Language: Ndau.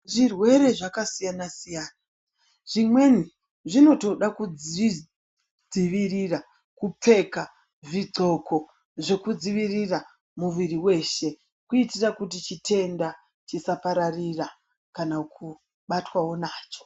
Zvirwere zvaka siyana siyana zvimweni zvinotoda kuzvi dzivirira kupfeka zvi ndxoko zveku dziivirira mwiri weshe kuitira kuti chitenda chisa pararira kana kubatwawo nacho.